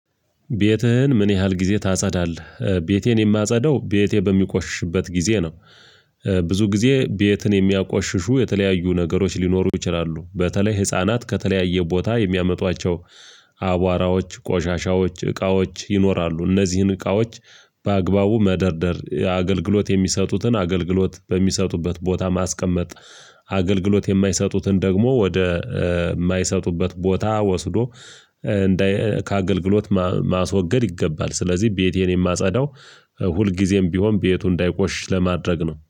ቤትህን ምን ያህል ጊዜ ታጸዳለህ? ቤቴን የማጸዳው ቤቴ በሚቆሽሽበት ጊዜ ነው። ብዙ ጊዜ ቤትን የሚያቆሽሹ የተለያዩ ነገሮች ሊኖሩ ይችላሉ። በተለይ ህፃናት ከተለያየ ቦታ የሚያመጧቸው አቧራዎች ቆሻሻዎች እቃዎች ይኖራሉ። እነዚህን እቃዎች በአግባቡ መደርደር አገልግሎት የሚሰጡትን አገልግሎት በሚሰጡበት ቦታ ማስቀመጥ። አገልግሎት የማይሰጡትን ደግሞ ወደ የማይሰጡበት ቦታ ወስዶ እንደ ከአገልግሎት ማስወገድ ይገባል። ስለዚህ ቤቴን የማጸዳው ሁልጊዜም ቢሆን ቤቱ እንዳይቆሽሽ ለማድረግ ነው